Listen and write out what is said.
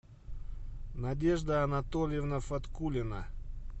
надежда анатольевна фаткулина